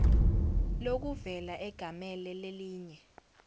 lokuvela egamele lelinye